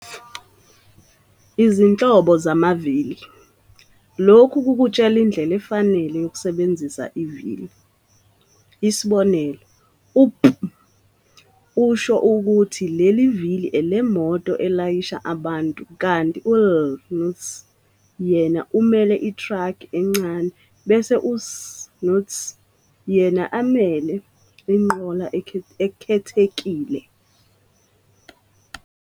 Izinhlobo zamavili - lokhu kukutshela indlela efanele yokusebenzisa ivili, isibonelo u-P usho ukuthi leli vili elemoto elayisha abantu kanti u-LT yena umele itraki encane bese u-ST yena amele inqola ekhethekile.